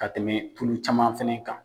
Ka tɛmɛ tulu caman fɛnɛ kan.